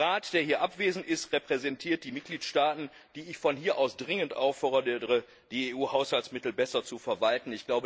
Der Rat, der hier abwesend ist, repräsentiert die Mitgliedstaaten, die ich dringend auffordere, die EU Haushaltsmittel besser zu verwalten.